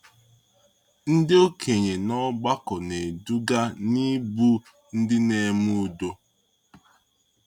Ndị okenye n’ọgbakọ na-eduga n’ịbụ ndị na-eme udo.